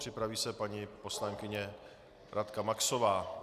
Připraví se paní poslankyně Radka Maxová.